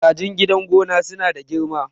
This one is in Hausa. kajin gidan gona suna da girma